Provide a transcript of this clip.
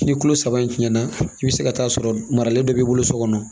Ni kulo saba in tiɲɛna i bɛ se ka taa sɔrɔ maralen dɔ b'i bolo so kɔnɔ